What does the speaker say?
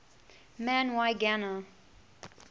man y gana